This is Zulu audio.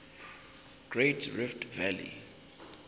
great rift valley